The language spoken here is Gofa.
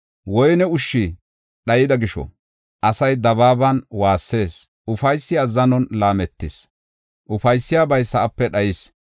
Woyne ushshi dhayida gisho asay dabaaban waassees; ufaysi azzanon laametis; ufaysiyabay sa7ape dhayis.